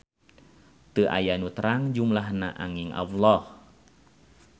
Teu aya nu terang jumlahna anging Alloh.